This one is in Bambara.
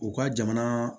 U ka jamana